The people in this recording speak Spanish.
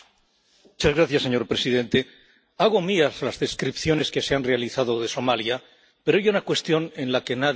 Señor presidente, hago mías las descripciones que se han realizado de Somalia, pero hay una cuestión en la que nadie entra.